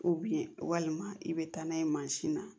walima i bɛ taa n'a ye mansin na